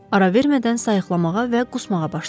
Ara vermədən sayıqlamağa və qusmağa başladı.